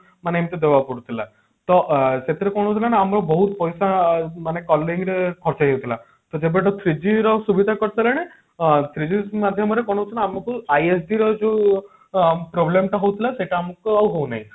ମାନେ ଏମତି ଦବାକୁ ପଡୁଥିଲା ତ ଅ ସେଥିର କଣ ହଉଥିଲା ନା ଆମକୁ ବହୁତ ପଇସା ମାନେ calling ରେ ଖର୍ଚ୍ଚ ହେଇ ଯାଉଥିଲା ତ ଯେବେଠୁ three G ର ସୁବିଧା କରି ସାରିଲାଣି three G SIM ମାଧ୍ୟମରେ କଣ ହଉଛି ନା ଆମକୁ ISD ର ଯୋଉ problem ଟା ହଉଥିଲା ସେଟା ଆମକୁ ଆଉ ହଉ ନାହିଁ